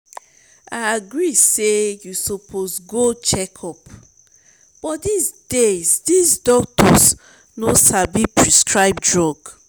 i agree say you suppose go check-up but dis days dis doctors no sabi prescribe drug